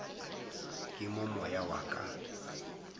ke mo moya wa ka